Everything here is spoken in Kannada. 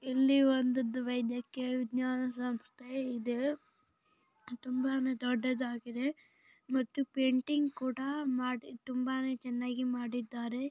ಇಲ್ಲಿ ಒಂದು ವೈದ್ಯಕೀಯ ವಿಜ್ಞಾನ ಸಂಸ್ಥೆ ಇದೆ ತುಂಬಾನೇ ದೊಡ್ಡದಾಗಿದೆ ಮತ್ತು ಪೆಂಟಿಂಗ್ ಕುಡ ಇದೆ.